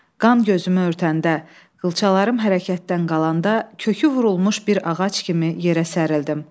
Qan gözümü örtəndə, qılçalarım hərəkətdən qalanda kökü vurulmuş bir ağac kimi yerə sərildim.